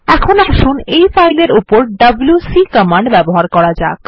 এখন আসুন এই ফাইল এর উপর ডব্লিউসি কমান্ড ব্যবহার করা যাক